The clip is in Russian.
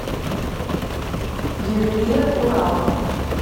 ювелиры урала